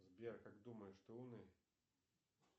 сбер как думаешь ты умный